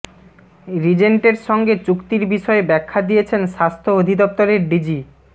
রিজেন্টের সঙ্গে চুক্তির বিষয়ে ব্যাখ্যা দিয়েছেন স্বাস্থ্য অধিদপ্তরের ডিজি